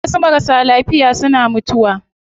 Wasu marasa lafiya suna mutuwa